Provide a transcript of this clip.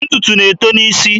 Ntụtụ na-eto n'isi.